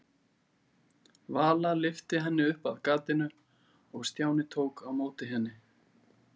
Vala lyfti henni upp að gatinu og Stjáni tók á móti henni.